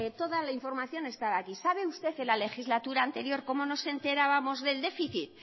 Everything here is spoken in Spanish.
toda la información está aquí sabe usted en la legislatura anterior cómo nos enterábamos del déficit